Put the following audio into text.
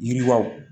Yiriwaw